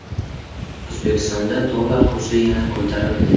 O‘zbekistonda dollar kursi yana ko‘tarildi.